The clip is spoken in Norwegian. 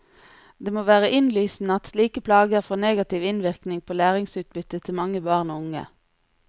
Det må være innlysende at slike plager får negativ innvirkning på læringsutbyttet til mange barn og unge.